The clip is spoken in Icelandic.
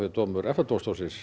dómur EFTA dómstólsins